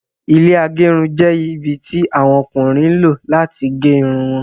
Ilẹ́ agerun jẹ́ ibi tí àwọn Ọkùnrin lọ láti gé Irun wọn